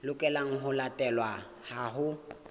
lokelang ho latelwa ha ho